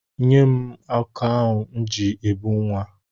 Nye m ụkọ m ji ebu nwa m.